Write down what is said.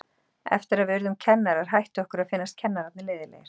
Eftir að við urðum kennarar hætti okkur að finnast kennararnir leiðinlegir.